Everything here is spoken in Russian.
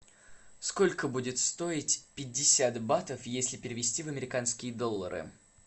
сколько будет стоить пятьдесят батов если перевести в американские доллары